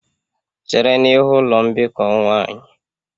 Chere n'ihu ụlọ mbikọ nwanyị!.